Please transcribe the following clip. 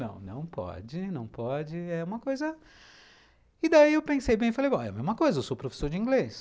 Não, não pode, não pode, é uma coisa... E daí eu pensei bem e falei, é a mesma coisa, eu sou professor de inglês.